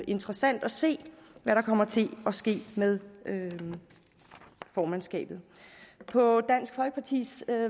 interessant at se hvad der kommer til at ske med formandskabet på dansk folkepartis